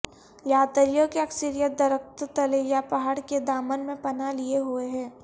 یاتریوں کی اکثریت درختوں تلے یا پہاڑ کے دامن میں پناہ لیے ہوئے ہے